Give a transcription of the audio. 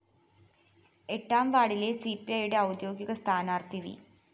എട്ടാം വാര്‍ഡിലെ സിപിഐയുടെ ഔദ്യോഗിക സ്ഥാനാര്‍ത്ഥി വി